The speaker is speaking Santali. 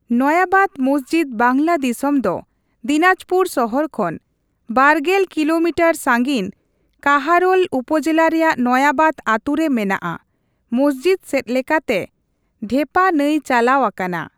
ᱱᱚᱭᱟᱵᱟᱫ ᱢᱚᱥᱡᱤᱫ ᱵᱟᱝᱞᱟᱫᱤᱥᱟ, ᱫᱚ ᱫᱤᱱᱟᱡᱽᱯᱩᱨ ᱥᱚᱦᱚᱨ ᱠᱷᱱ ᱒᱐ ᱠᱤᱞᱳᱢᱤᱴᱟᱨ ᱥᱟᱺᱜᱤᱧ ᱠᱟᱦᱟᱨᱳᱞ ᱩᱯᱚᱡᱮᱞᱟ ᱨᱮᱭᱟᱜ ᱱᱚᱭᱟᱵᱟᱫ ᱟᱛᱩ ᱨᱮ ᱢᱮᱱᱟᱜᱼᱟ ᱾ ᱢᱚᱥᱡᱤᱫ ᱥᱮᱡ ᱞᱮᱠᱟᱛᱮ ᱰᱷᱮᱯᱟ ᱱᱟᱹᱭ ᱪᱟᱞᱟᱣ ᱟᱠᱟᱱᱟ ᱾